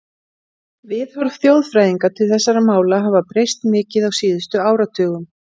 Viðhorf þjóðfræðinga til þessara mála hafa breyst mikið á síðustu áratugum.